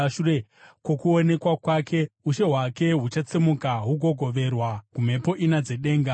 Shure kwokuonekwa kwake, ushe hwake huchatsemuka hugogoverwa kumhepo ina dzedenga.